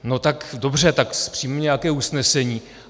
No tak dobře, tak přijmeme nějaké usnesení.